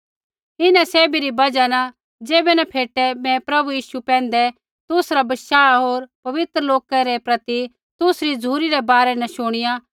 इन्हां सैभी री बजहा न ज़ैबै न फेटे मैं प्रभु यीशु पैंधै तुसरा बशाह होर पवित्र लोका रै प्रति तुसरी झ़ुरी रै बारै न शुणिया